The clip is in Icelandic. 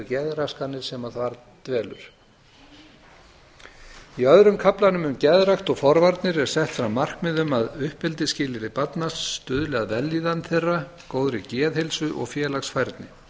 geðraskanir sem þar dvelur í öðrum kaflanum um geðrækt og forvarnir er sett fram markmið um að uppeldisskilyrði barna stuðli að vellíðan þeirra góðri geðheilsu og félagsfærni